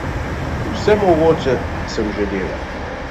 Vse mogoče sem že delal.